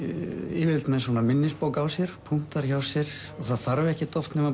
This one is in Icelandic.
yfirleitt með minnisbók á sér punktar hjá sér og það þarf ekkert oft nema